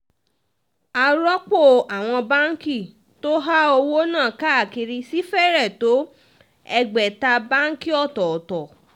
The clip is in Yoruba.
àròpọ̀ àwọn báǹkì tó há owó náà káàkiri sì fẹ́rẹ̀ tó ẹgbẹ̀ta báǹkì ọ̀tọ̀tọ̀